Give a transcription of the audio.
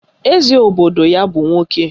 Eze obodo ya bụ nwoke